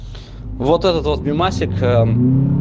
вот этот вот мемасик